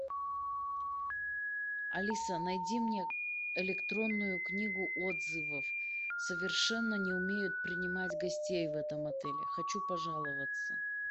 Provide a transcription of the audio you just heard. алиса найди мне электронную книгу отзывов совершенно не умеют принимать гостей в этом отеле хочу пожаловаться